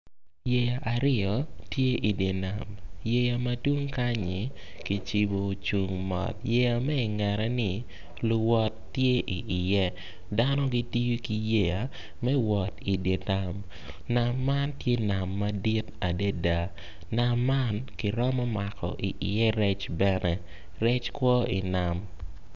Yeya aryo tye idye nam yeya ma tung kanyi kicibu o cung mot yeya me ingette-ni luwot ti i iye dano gitiyo ki yeya me idye nam nam man tye nam madit adida nam kiromo mako iye rec bene rec kwo inam